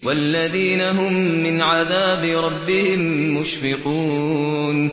وَالَّذِينَ هُم مِّنْ عَذَابِ رَبِّهِم مُّشْفِقُونَ